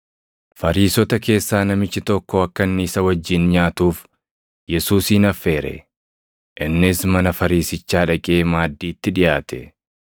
Fariisota keessaa namichi tokko akka inni isa wajjin nyaatuuf Yesuusin affeere; innis mana Fariisichaa dhaqee maaddiitti dhiʼaate.